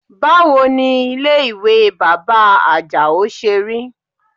Báwo ni ilé ìwẹ̀ bàbá Àjàó ṣe rí?